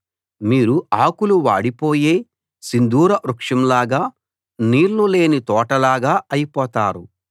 మీరు ఆకులు వాడిపోయే సింధూరవృక్షంలాగా నీళ్ళు లేని తోటల్లాగా అయిపోతారు